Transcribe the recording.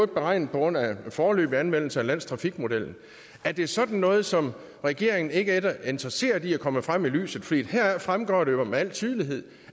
beregnet på grundlag af en foreløbig anvendelse af landstrafikmodellen er det sådan noget som regeringen ikke er interesseret i kommer frem i lyset for heraf fremgår det jo med al tydelighed